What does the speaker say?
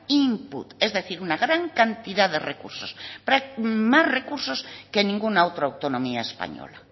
input es decir una gran cantidad de recursos más recursos que ninguna otra autonomía española